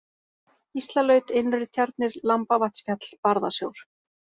Gíslalaut, Innri-Tjarnir, Lambavatnsfjall, Barðasjór